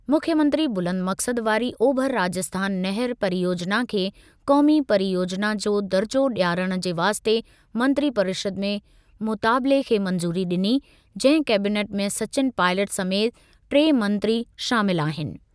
मुख्यमंत्री बुलंद मक़्सद वारी ओभर राजस्थान नहर परियोजिना खे क़ौमी परियोजिना जो दर्जो डि॒यारण जे वास्ते मंत्री परिषद में मुतालिबे खे मंज़ूरी डि॒नी, जंहिं कैबिनेट में सचिन पाइलट समेति टे मंत्री शामिल आहिनि।